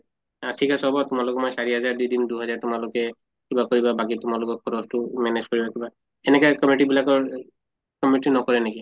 আহ ঠিক আছে হʼব তোমালোকক মই চাৰি হাজাৰ দি দিম দুহেজাৰ তোমালোকে কিবা কৰিবা বাকী তোমালোকৰ খৰচ্টো manage কৰিবা কিবা সেনেকা committee বিলাকৰ এহ committee নকৰে নেকি?